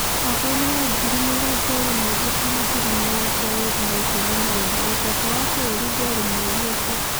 Mwakainĩ wa ngiri mĩrongo ĩĩrĩ na ithathatũ na ngiri mĩrongo ĩĩrĩ na ikũmi na inya, ũtonga wa bũrũri ndwarĩ mũũru ũguo.